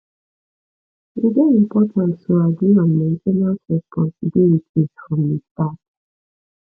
e dey important to agree on main ten ance responsibilities from the start